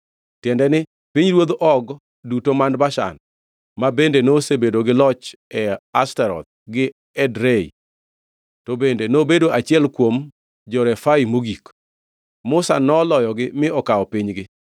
tiende ni, pinyruodh Og duto man Bashan, ma bende nosebedo gi loch e Ashtaroth gi Edrei. (To bende nobedo achiel kuom jo-Refai mogik.) Musa noloyogi mi okawo pinygi.